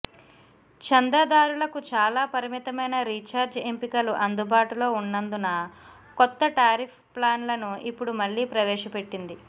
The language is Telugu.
చందాదారులకు చాలా పరిమితమైన రీఛార్జ్ ఎంపికలు అందుబాటులో ఉన్నందున కొత్త టారిఫ్ ప్లాన్లను ఇప్పుడు మళ్ళి ప్రవేశపెట్టింది